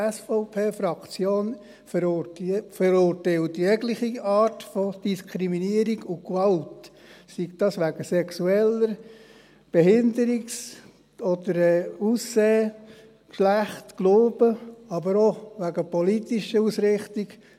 Auch die SVP-Fraktion verurteilt jegliche Art von Diskriminierung und Gewalt, sei das wegen Sexualität, Behinderung, Aussehen, Geschlecht, Glauben, aber auch wegen politischer Ausrichtung.